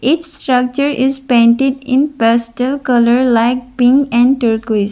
each structure is painted in pastel colour like pink and turquoise.